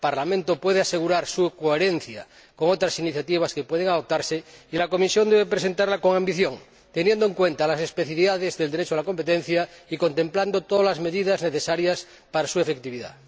El Parlamento puede asegurar su coherencia con otras iniciativas que pueden adoptarse y la Comisión debe presentarla con ambición, teniendo en cuenta las especifidades del Derecho de competencia y contemplando todas las medidas necesarias para su efectividad.